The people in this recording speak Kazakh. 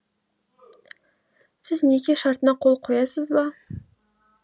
сіз неке шартына қол қоясыз ба